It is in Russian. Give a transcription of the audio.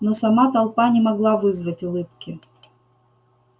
но сама толпа не могла вызвать улыбки